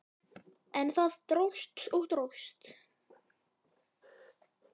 En það dróst og dróst.